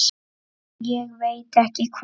Ég veit ekki hvað